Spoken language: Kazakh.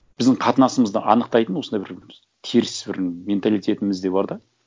біздің қатынасымызды анықтайтын осындай бір теріс бір менталитетімізде бар да